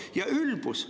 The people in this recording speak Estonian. Ja ülbus!